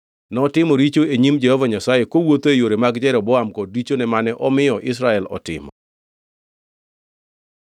Notimo richo e nyim Jehova Nyasaye, kowuotho e yore mag Jeroboam kod richone mane omiyo Israel otimo.